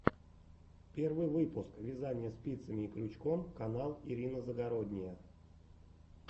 первый выпуск вязание спицами и крючком канал ирина загородния